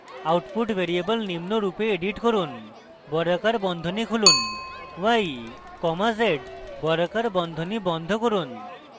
output variable নিম্নরূপে edit করুন বর্গাকার বন্ধনী খুলুন y comma z বর্গাকার বন্ধনী বন্ধ করুন